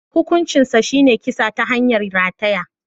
Hukuncinsa shine kisa ta hanyar rataya.